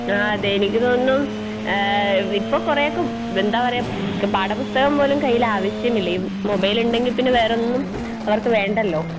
ആ അതെ എനിക്ക് തോന്നുന്നു ഏഹ് ഇപ്പ കൊറേയൊക്കെ എന്താ പറയാ പാഠപുസ്‌തകം പോലും കയ്യിലാവശ്യമില്ല ഈ മൊബൈലിണ്ടങ്കിപ്പിന്നെ വേറൊന്നും അവർക്ക് വേണ്ടല്ലോ?